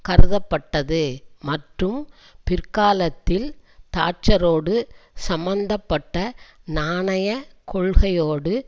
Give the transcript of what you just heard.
கருதப்பட்டது மற்றும் பிற்காலத்தில் தாட்சரோடு சம்மந்த பட்ட நாணய கொள்கையோடு